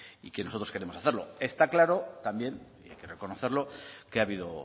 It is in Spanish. y que nosotros queremos hacerlo está claro también hay que reconocerlo que ha habido